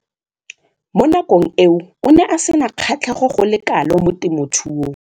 Mo nakong eo o ne a sena kgatlhego go le kalo mo temothuong.